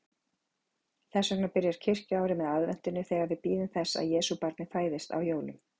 Þess vegna byrjar kirkjuárið með aðventunni, þegar við bíðum þess að Jesúbarnið fæðist á jólum.